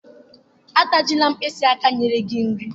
Atajila mkpịsị aka nyere gị nri.